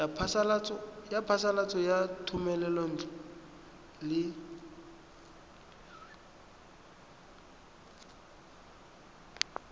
ya phasalatso ya thomelontle le